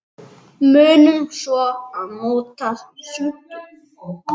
Munum svo að nota svuntu.